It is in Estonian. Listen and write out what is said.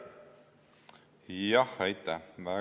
Jah, aitäh!